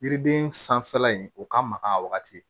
Yiriden sanfɛla in o ka mag'a wagati